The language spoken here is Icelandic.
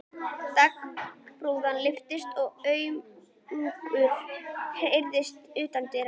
Dagsbrún lyftist og umgangur heyrðist utandyra.